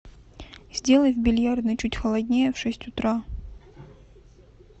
сделай в бильярдной чуть холоднее в шесть утра